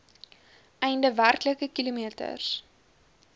einde werklike kilometers